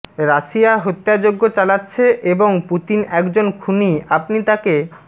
Russia হত্যাযজ্ঞ চালাচ্ছে এবং পুতিন একজন খুনি আপনি তাঁকে